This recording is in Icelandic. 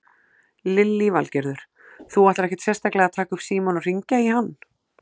Lillý Valgerður: Þú ætlar ekkert sérstaklega að taka upp símann og hringja í hann?